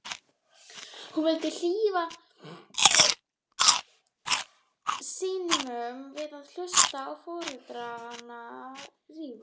Hún vildi hlífa syninum við að hlusta á foreldrana rífast.